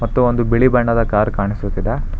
ತ್ತು ಒಂದು ಬಿಳಿ ಬಣ್ಣದ ಕಾರ್ ಕಾಣಿಸುತ್ತಿದೆ.